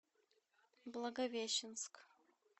благовещенск